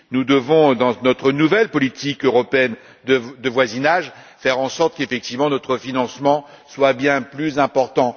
Nous devons, dans notre nouvelle politique européenne de voisinage, faire en sorte qu'effectivement notre financement soit bien plus important.